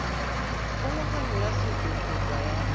kgolagano ya setso kgotsa ya